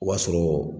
O b'a sɔrɔ